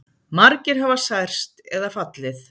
Margir hafa særst eða fallið